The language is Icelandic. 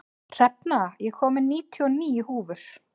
Hrefna, ég kom með níutíu og níu húfur!